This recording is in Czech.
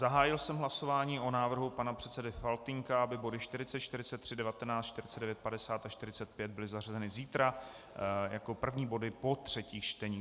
Zahájil jsem hlasování o návrhu pana předsedy Faltýnka, aby body 40, 43, 19, 49, 50 a 45 byly zařazeny zítra jako první body po třetích čteních.